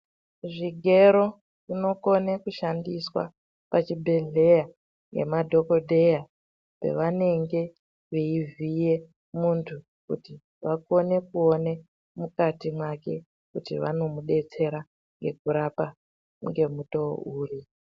Zvigero zvinokone kushandiswa muzvibhedhlera ngemadhokodheya pavanenge veivhiya muntu kuti vakone kuona mukati mwake kuti vanomudetsera nekurapa ngemutoo uri.